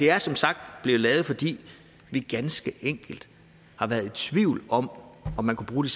er som sagt blev lavet fordi vi ganske enkelt har været i tvivl om om man kunne bruge